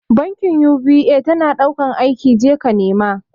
Bankin UBA tana ɗaukan aiki, je ka nema